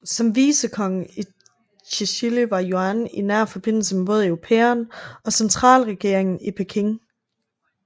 Som vicekonge i Tsjili var Yuan i nær forbindelse både med europæerne og centralregeringen i Peking